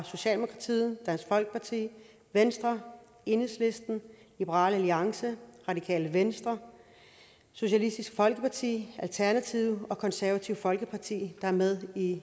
socialdemokratiet dansk folkeparti venstre enhedslisten liberal alliance radikale venstre socialistisk folkeparti alternativet og det konservative folkeparti der er med i